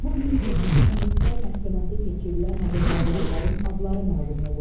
Bu gün Yekaterinburqda məhkəməsi keçirilən azərbaycanlıların adları məlum olub.